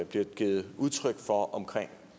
bliver givet udtryk for omkring